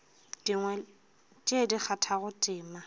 dingwe tše di kgathago tema